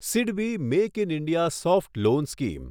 SIDBI make in India soft loan scheme